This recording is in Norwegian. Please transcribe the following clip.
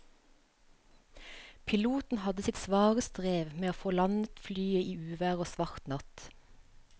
Piloten hadde sitt svare strev med å få landet flyet i uvær og svart natt.